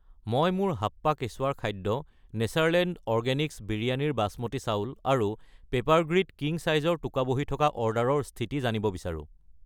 মই মোৰ হাপ্পা কেচুৱাৰ খাদ্য , নেচাৰলেণ্ড অৰগেনিক্ছ বিৰয়ানীৰ বসমতী চাউল আৰু পেপাৰগ্ৰীড কিং চাইজৰ টোকাবহী থকা অৰ্ডাৰৰ স্থিতি জানিব বিচাৰোঁ।